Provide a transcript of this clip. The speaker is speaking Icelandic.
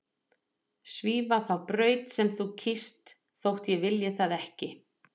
Svífa þá braut sem þú kýst þótt ég vilji það ekki.